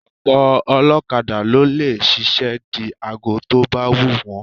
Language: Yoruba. Ọ̀pọ̀ ọlọ́kada ló lè ṣiṣẹ́ di aago tó bá wù wọ́n